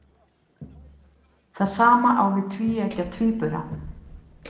Það sama á við um tvíeggja tvíbura.